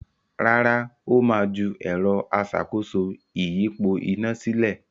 Rárá, Ó ma ju “ẹ̀rọ aṣàkóso ìyípo iná” sílẹ̀